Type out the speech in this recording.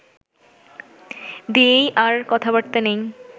দিয়েই আর কথাবার্তা নেই